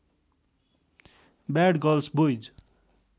bad girls boys